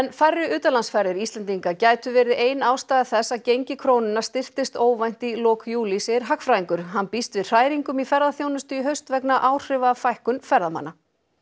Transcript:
færri utanlandsferðir Íslendinga gætu verið ein ástæða þess að gengi krónunnar styrktist óvænt í lok júlí segir hagfræðingur hann býst við hræringum í ferðaþjónustu í haust vegna áhrifa fækkunar ferðamanna